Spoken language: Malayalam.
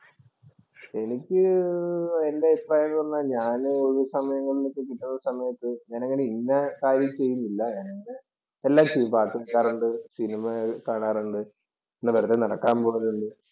എനിക്ക് എന്‍റെ അഭിപ്രായം എന്ന് പറഞ്ഞാൽ ഞാന് ഒഴിവു സമയങ്ങൾ കിട്ടുന്ന സമയത്ത് ഞാൻ അങ്ങനെ ഇന്ന കാര്യം ചെയ്യുന്നില്ല ഞാൻ എന്‍റെ എല്ലാ കാര്യങ്ങളും ചെയ്യും. പാട്ട് കേൾക്കാറുണ്ട്. സിനിമ കാണാറുണ്ട്. വെറുതെ നടക്കാൻ പോകാറുണ്ട്.